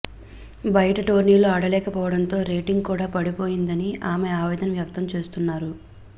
బయట టోర్నీలు ఆడలేకపోవడంతో రేటింగ్ కూడా పడిపోయిందని ఆమె ఆవేదన వ్యక్తం చేస్తున్నారు